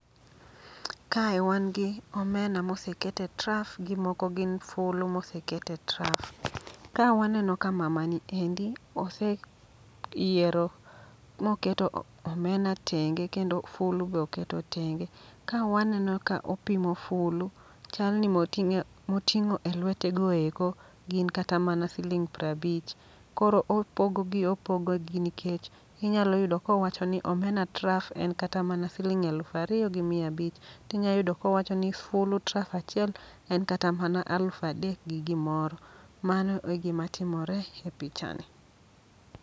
Kae wan gi omena moseket e traf gi moko gin fulu moseket e traf. Ka waneno ka mamani endi ose yiero moketo omena tenge kendo fulu be oketo tenge. Ka waneno ka opimo fulu, chal ni moting'o e lwete goeko, gin kata mana siling' prabich. Koro opogogi opogogi nikech inyalo yudo kowacho ni omena traf en kata mana siling' elufariyo gi mia abich. Tinya yudo kowacho ni fulu traf achiel en kata mana alufadek gi gimoro. Mano e gima timore e picha ni.